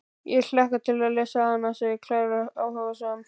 Ég hlakka til að lesa hana, segir Klara áhugasöm.